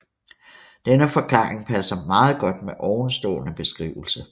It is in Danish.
Denne forklaring passer meget godt med ovenstående beskrivelse